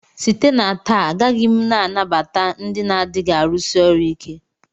Site na taa agaghị m anabata ndị na-adịghị arụsi ọrụ ike!